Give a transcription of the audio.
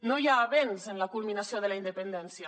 no hi ha avenç en la culminació de la independència